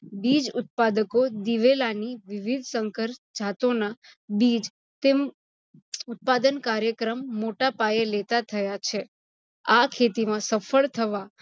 બીજ ઉત્પાદકો દિવેલાની વિવિધ સંકર જાતોનાં બીજ ઉત્પાદન કાયૅક્રમ મોટા પાયે લેતા થયા છે. આ ખેતીમાં સફળ થવા